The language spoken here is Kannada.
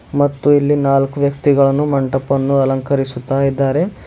ಮತ್ತು ಇಲ್ಲಿ ನಾಲ್ಕು ವ್ಯಕ್ತಿಗಳನ್ನು ಮಂಟಪನ್ನು ಅಲಂಕರಿಸುತ್ತ ಇದ್ದಾರೆ.